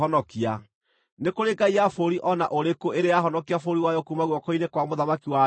Nĩ kũrĩ ngai ya bũrũri o na ũrĩkũ ĩrĩ yahonokia bũrũri wayo kuuma guoko-inĩ kwa mũthamaki wa Ashuri?